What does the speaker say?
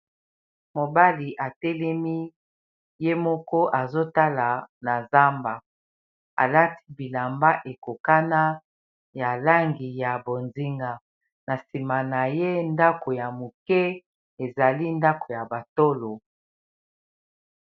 Mobali atelemi ye moko azotala na zamba alati bilamba ekokana ya langi ya bonzinga na nsima na ye ndako ya moke ezali ndako ya batolo